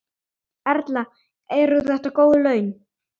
Erla: Eru þetta góð laun?